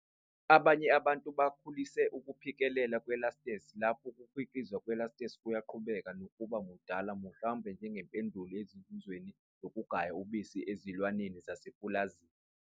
Abanye abantu bakhulise ukuphikelela kwe-lactase, lapho ukukhiqizwa kwe-lactase kuyaqhubeka nokuba mdala mhlawumbe njengempendulo ezinzuzweni zokugaya ubisi ezilwaneni zasemapulazini.